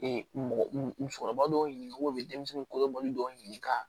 mɔgɔkɔrɔba dɔw ɲininka u bɛ denmisɛnnin kolobɔli dɔw ɲini ka